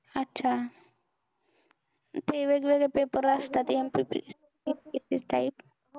अच्छा ते वेगवेगळ्या paper असतात ते